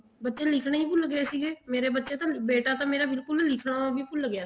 ਬੱਚੇ ਲਿਖਣਾ ਹੀ ਭੁੱਲ ਗਏ ਸੀਗੇ ਮੇਰੇ ਬੱਚੇ ਤਾਂ ਬੇਟਾ ਤਾਂ ਮੇਰਾ ਬਿਲਕੁਲ ਲਿਖਣਾ ਹੀ ਭੁੱਲ ਗਿਆ ਸੀਗਾ